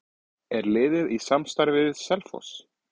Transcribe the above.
Er liðið í samstarfi við Selfoss?